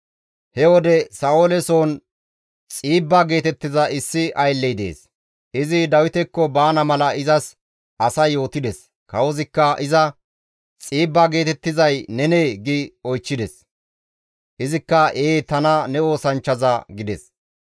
He wode Sa7oole soon Xiibba geetettiza issi aylley dees; izi Dawitekko baana mala izas asay yootides. Kawozikka iza, «Xiibba geetettizay nenee?» gi oychchides. Izikka, «Ee tana ne oosanchchaza» gides.